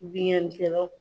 Bingani kɛlaw.